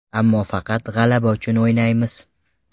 Ammo faqat g‘alaba uchun o‘ynaymiz.